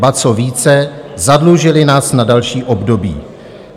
Ba co více, zadlužily nás na další období.